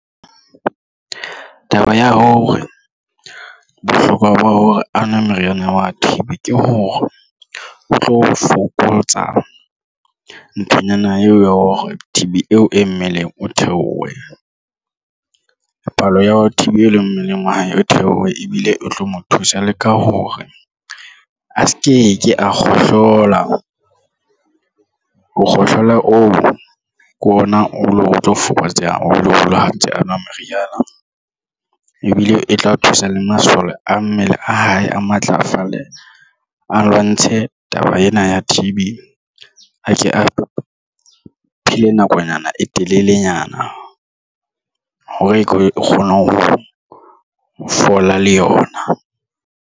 Taba ya hore bohlokwa ba hore a nwe meriana wa T_B ke hore o tlo fokotsa nthonyana eo ya hore T_B eo e mmeleng o theohe palo ya T_B e leng mmeleng wa hae o theohe ebile o tlo mo thusa le ka hore a sevke ke a kgohlola ho kgohlola oo ke ona o tlo fokotseha o lo le ha ntse a nwa meriana ebile e tla thusa le masole a mmele a hae a matlafale a lwantshe taba ena ya T_B. A Ke a phele nakonyana e telelenyana hore ke kgone ho fola le yona.